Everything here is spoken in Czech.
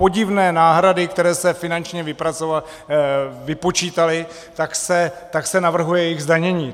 Podivné náhrady, které se finančně vypočítaly, tak se navrhuje jejich zdanění.